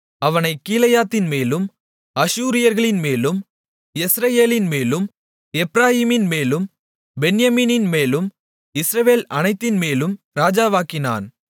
அவனைக் கீலேயாத்தின்மேலும் அஷூரியர்கள்மேலும் யெஸ்ரயேலின்மேலும் எப்பிராயீமின்மேலும் பென்யமீனின்மேலும் இஸ்ரவேல் அனைத்தின்மேலும் ராஜாவாக்கினான்